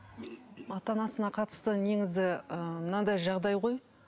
ата анасына қатысты негізі ыыы мынандай жағдай ғой